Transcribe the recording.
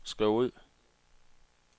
skriv ud